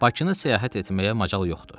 Bakını səyahət etməyə macal yoxdur.